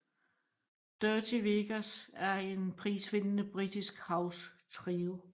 Dirty Vegas er en prisvindende britisk house trio